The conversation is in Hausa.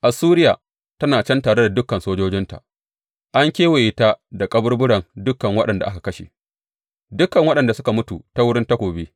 Assuriya tana can tare da dukan sojojinta; an kewaye ta da kaburburan dukan waɗanda aka kashe, dukan waɗanda suka mutu ta wurin takobi.